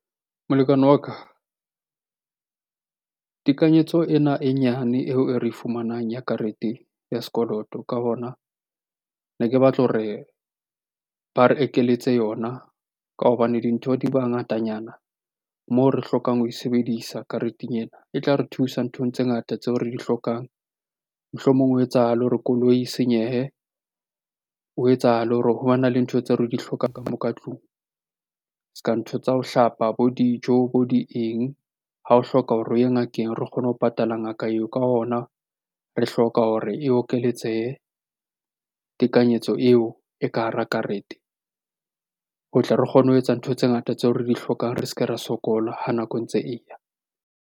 Molekane wa ka, tekanyetso ena e nyane eo e re e fumanang ya karete ya sekoloto. Ka hona ne ke batla hore ba re ekeletse yona ka hobane dintho di ba ngatanyana moo re hlokang ho e sebedisa kareteng ena. E tla re thusa nthong tse ngata tseo re di hlokang. Mohlomong ho etsahale hore koloi e senyehe, ho etsahale hore ho bana le ntho tseo re di hlokang ka moo ka tlung se ka ntho tsa ho hlapa, bo dijo, bo di eng? Ha o hloka hore o ye ngakeng re kgone ho patala ngaka eo. Ka hona re hloka hore e okeletsehe tekanyetso eo e ka hara karete. Ho tle re kgone ho etsa ntho tse ngata tseo re di hlokang re se ke ra sokola ha nako e ntse e ya.